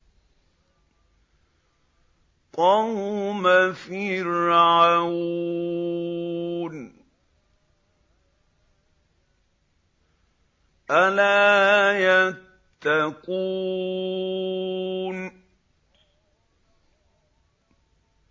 قَوْمَ فِرْعَوْنَ ۚ أَلَا يَتَّقُونَ